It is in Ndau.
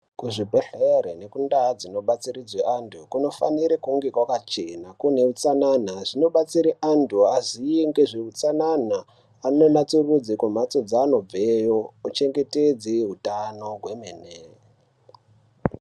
Kuzvibhehlere nekundau dzinobatsiridzwe antu kunofanira kunge kwakachena kuneutsanana. Zvinobatsire antu aziye ngezveutsanana .Anatsurudze kumbatso dzaanobveyo ,uchengete hutano kwemene.